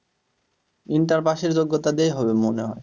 inter pass এর যোগ্যতা দিয়েই হবে মনে হয়,